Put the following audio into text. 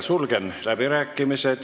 Sulgen läbirääkimised.